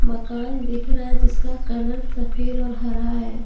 मकान दिख रहा है जिसका कलर सफ़ेद और हरा है।